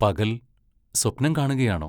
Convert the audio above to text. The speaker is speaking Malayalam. പകൽ, സ്വപ്നം കാണുകയാണോ?